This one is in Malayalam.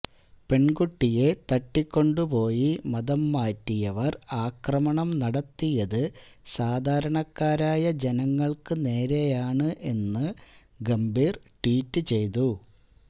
പെൺകുട്ടിയെ തട്ടിക്കൊണ്ടുപോയി മതംമാറ്റിയവർ ആക്രമണം നടത്തിയത് സാധാരണക്കാരായ ജനങ്ങൾക്ക് നേരെയാണ് എന്ന് ഗംഭീർ ട്വീറ്റ് ചെയ്തു